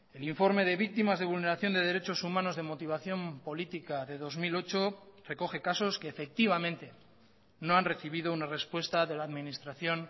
el informe de víctimas de vulneración de derechos humanos de motivación política de dos mil ocho recoge casos que efectivamente no han recibido una respuesta de la administración